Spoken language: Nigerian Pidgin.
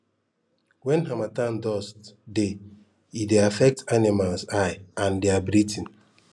wen harmattan dust dey e dey affect animals eye and dia breathing